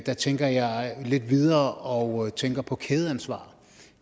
der tænker jeg lidt videre og tænker på kædeansvar